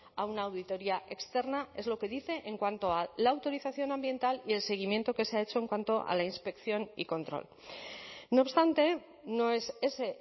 a una auditoría externa es lo que dice en cuanto a la autorización ambiental y el seguimiento que se ha hecho en cuanto a la inspección y control no obstante no es ese